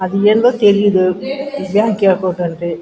అది ఏందో తెలీదు బ్యాంక్ అకౌంటు అంట్రి --